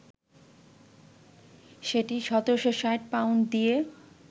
সেটি ১৭৬০ পাউন্ড দিয়ে